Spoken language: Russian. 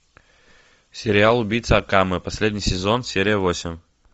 сериал убийца акаме последний сезон серия восемь